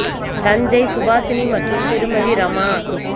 தஞ்சை சுபாஷினி மற்றும் திருமதி ரமா